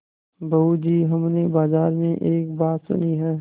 बहू जी हमने बाजार में एक बात सुनी है